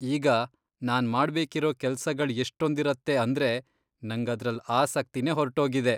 ಈಗ, ನಾನ್ ಮಾಡ್ಬೇಕಿರೋ ಕೆಲ್ಸಗಳ್ ಎಷ್ಟೊಂದಿರತ್ತೆ ಅಂದ್ರೆ ನಂಗ್ ಅದ್ರಲ್ಲ್ ಆಸಕ್ತಿನೇ ಹೊರ್ಟೋಗಿದೆ.